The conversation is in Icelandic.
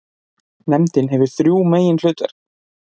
Nefndin hefur þrjú meginhlutverk.